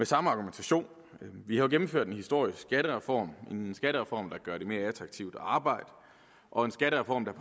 samme argumentation vi har jo gennemført en historisk skattereform en skattereform der gør det mere attraktivt at arbejde og en skattereform der